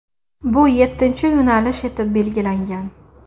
Bu yettinchi yo‘nalish etib belgilangan.